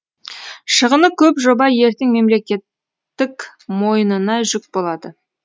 шығыны көп жоба ертең мемлекеттік мойнына жүк болады